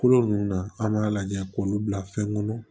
Kolo ninnu na an b'a lajɛ k'olu bila fɛn kɔnɔ